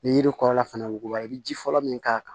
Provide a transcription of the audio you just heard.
Ni yiri kɔrɔla fana wuguba i bɛ ji fɔlɔ min k'a kan